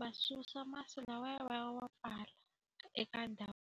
va susa masi lawaya va ya va pfala eka ndhawu.